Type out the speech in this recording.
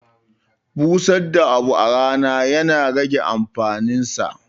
Busar da abu a rana ya na rage amfanin sa.